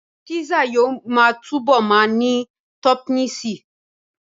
Písà yóò túbọ̀ ma ní tọ́pìnsí